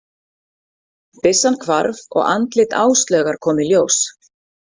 Byssan hvarf og andlit Áslaugar kom í ljós.